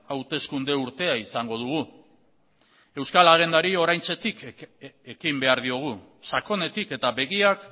hauteskunde urtea izango dugu euskal agendari oraintxetik ekin behar diogu sakonetik eta begiak